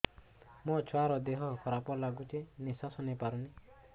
ମୋ ଛୁଆର ଦିହ ଖରାପ ଲାଗୁଚି ନିଃଶ୍ବାସ ନେଇ ପାରୁନି